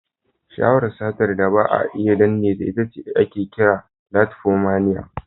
Sha'awar sata da ba a iya danneta, ita ake kira "kleftomania".